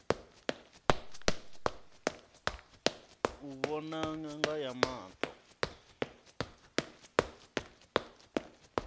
u vhona ṅanga ya maṱo